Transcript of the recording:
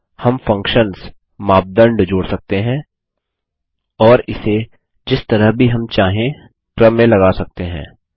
हम फंक्शन्समापदंड जोड़ सकते हैं और इसे जिस तरह भी हम चाहें क्रम में लगा सकते हैं